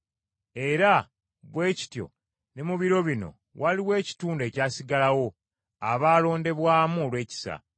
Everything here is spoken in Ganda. Era bwe kityo ne mu biro bino waliwo ekitundu ekyasigalawo abaalondebwamu olw’ekisa.